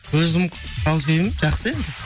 өзім жақсы енді